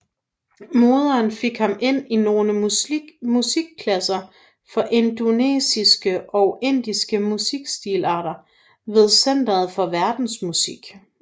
Moderen fik ham ind i nogle musikklasser for indonesiske og indiske musikstilarter ved centeret for verdensmusik